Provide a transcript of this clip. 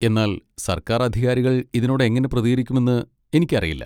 എന്നാൽ സർക്കാർ അധികാരികൾ ഇതിനോട് എങ്ങനെ പ്രതികരിക്കുമെന്ന് എനിക്കറിയില്ല.